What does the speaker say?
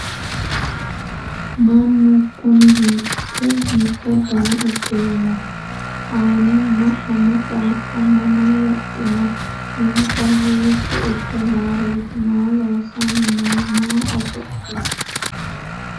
Mannu kunni hiikke mitto danna udirinno? Aanunna ama qaaqqo mama wodhinno? insa hiitto ikke nooreetti? Maa loosanni noo? Maaho oso'li?